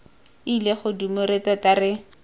ile godimo re tota re